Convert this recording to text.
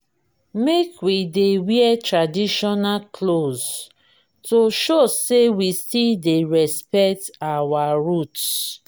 make we dey wear traditional clothes to show sey we still dey respect our roots.